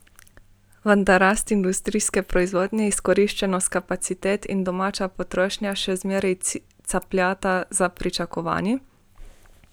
Vendar rast industrijske proizvodnje, izkoriščenost kapacitet in domača potrošnja še vedno capljata za pričakovanji.